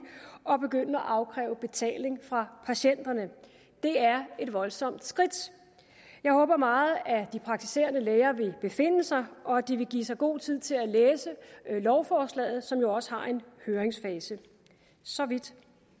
og begynde at afkræve betaling fra patienterne det er et voldsomt skridt jeg håber meget at de praktiserende læger vil besinde sig og at de vil give sig god tid til at læse lovforslaget som jo også har en høringsfase så vidt